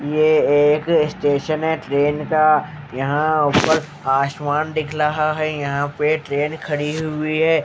ये एक स्टेशन हैं ट्रेन का यहाँ ऊपर आसमान दिख लहा हैं यहाँ पे ट्रेन खड़ी हुई हैं।